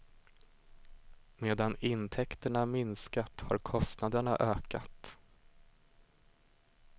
Medan intäkterna minskat har kostnaderna ökat.